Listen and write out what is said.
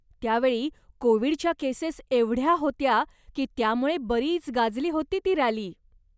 त्यावेळी कोविडच्या केसेस एवढ्या होत्या की त्यामुळे बरीच गाजली होती ती रॅली.